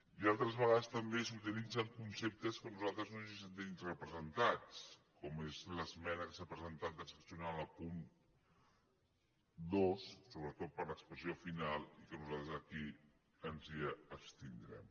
i altres ve·gades també s’utilitzen conceptes que nosaltres no ens hi sentim representats com és l’esmena que s’ha pre·sentat transaccional al punt dos sobretot per l’expres·sió final i que nosaltres aquí ens hi abstindrem